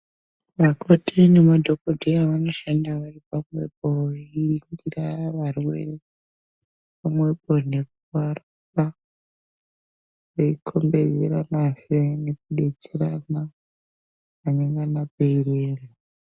Vakoti namadhokodheya vanoshanda vari pamwepo veiringira varwere pamwepo nekuvapa veikhombedzeranazve nekudetserana panengana peirema.